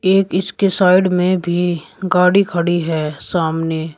एक इसके साइड में भी गाड़ी खड़ी है सामने।